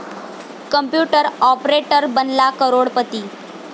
computer operator बनला करोडपती